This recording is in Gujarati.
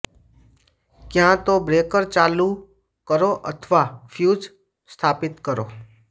ક્યાં તો બ્રેકર ચાલુ કરો અથવા ફ્યુઝ સ્થાપિત કરો